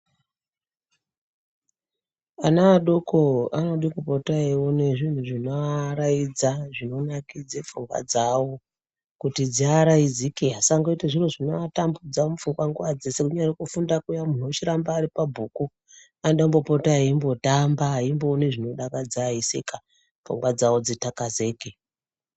Ana adoko anoda kupota eiona zvinhu zvinovaraidza zvinonakidza pfungwa dzawo kuti dzivaraudzike vasaita zvinhu zvinovatambudza mupfungwa nguwa dzese kuti vochiramba mupfungwa veidzidza vanoda kupota veitamba veimboona zvinodakadza veiseka panguwa dzekutakazika.